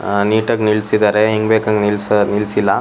ಆ ನೀಟ್ ಆಗಿ ನಿಲ್ಲಿಸಿದ್ದಾರೆ ಹೆಂಗ್ ಬೇಕು ಹಂಗೆ ನಿಲ್ಸಿಲ್ಲ.